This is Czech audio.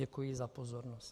Děkuji za pozornost.